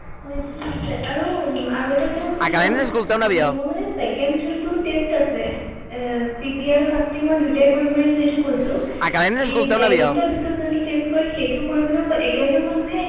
হয় হয় হয়